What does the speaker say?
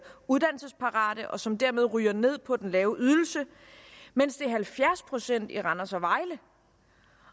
uddannelsesparate og som dermed ryger ned på den lave ydelse mens det er halvfjerds procent i randers og vejle